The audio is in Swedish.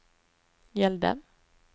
gällde